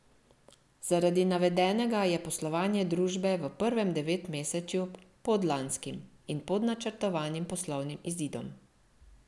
Zaradi navedenega je poslovanje družbe v prvem devetmesečju pod lanskim in pod načrtovanim poslovnim izidom.